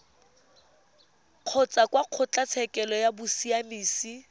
kgotsa kwa kgotlatshekelo ya bosiamisi